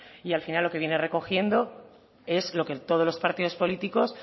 y al final lo que viene recogiendo es lo que todos los partidos políticos